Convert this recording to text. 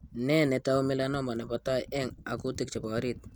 Nee netau melanoma nebo tai eng' akutanik chebo orit?